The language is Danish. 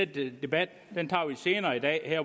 den debat tager vi senere i dag